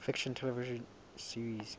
fiction television series